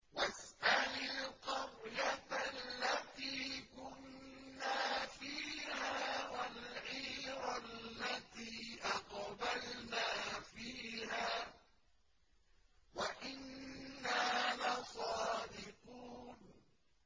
وَاسْأَلِ الْقَرْيَةَ الَّتِي كُنَّا فِيهَا وَالْعِيرَ الَّتِي أَقْبَلْنَا فِيهَا ۖ وَإِنَّا لَصَادِقُونَ